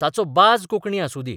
ताचो बाज कोंकणी आसुं दी.